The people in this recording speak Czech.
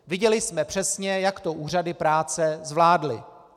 Viděli jsme přesně, jak to úřady práce zvládly.